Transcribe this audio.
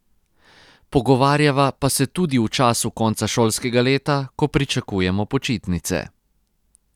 Pogovarjava pa se tudi v času konca šolskega leta, ko pričakujemo počitnice.